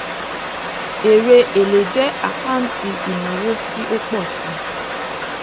èrè èlé jẹ àkáǹtì ìnáwó tí ó pọ sí